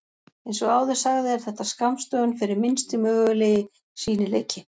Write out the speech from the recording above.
Eins og áður sagði er þetta skammstöfun fyrir Minnsti mögulegi sýnileiki.